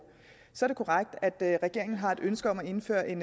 så er det korrekt at regeringen har et ønske om at indføre en